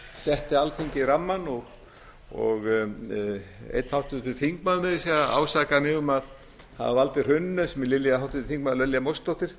setti alþingi rammann og einn háttvirtur þingmaður meira að segja ásakaði mig um að hafa valdið hruninu sem er háttvirtir þingmenn lilja mósesdóttir